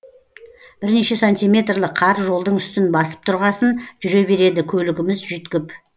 бірнеше сантиметрлік қар жолдың үстін басып тұрғасын жүре береді көлігіміз жүйткіп